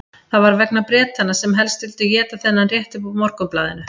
Það var vegna Bretanna sem helst vildu éta þennan rétt upp úr Morgunblaðinu.